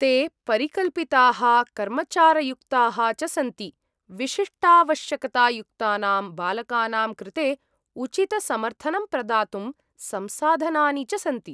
ते परिकल्पिताः, कर्मचारयुक्ताः च सन्ति, विशिष्टावश्यकता युक्तानां बालकानां कृते उचितसमर्थनं प्रदातुं संसाधनानि च सन्ति।